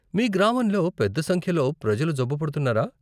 మీ గ్రామంలో పెద్ద సంఖ్యలో ప్రజలు జబ్బు పడుతున్నారా?